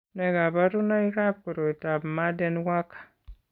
Nee kabarunoikab koroitoab Marden Walker?